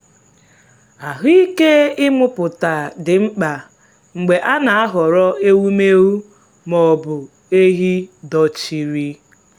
ahụ́ike ịmụpụta dị mkpa mgbe a na-ahọrọ ewumewụ ma ọ bụ ehi dochiri.